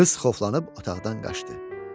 Qız qorxulanıb otaqdan qaçdı.